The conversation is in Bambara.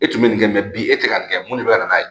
E tun bɛ nin kɛ mɛ bi e tɛ ka nin kɛ mun de bɛ ka n n'a ye